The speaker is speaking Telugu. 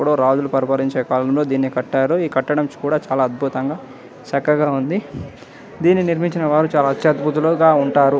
ఎప్పోదు రాజులూ పరిపాలించే పరిపాలనలో దీన్ని కట్టారు ఈ కట్టడం కూడా చాల అద్భుతంగా చక్కగా ఉంది . దీని నిర్మించిన వాలు చాల అత్యబుతంగా ఉంటారు.